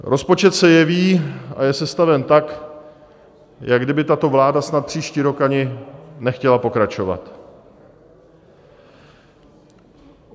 Rozpočet se jeví a je sestaven tak, jako kdyby tato vláda snad příští rok ani nechtěla pokračovat.